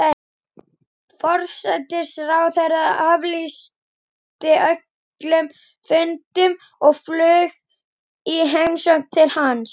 Forsætisráðherrann aflýsti öllum fundum og flaug í heimsókn til hans.